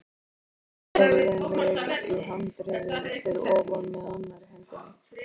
Ég teygði mig í handriðið fyrir ofan með annarri hendi.